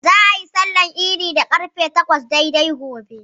Za'a yi sallar idin da ƙarfe takwas daidai gobe.